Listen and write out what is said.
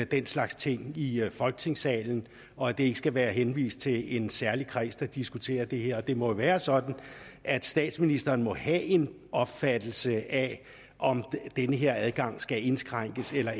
den slags ting i folketingssalen og at det ikke skal være henvist til en særlig kreds der diskuterer det her det må jo være sådan at statsministeren må have en opfattelse af om den her adgang skal indskrænkes eller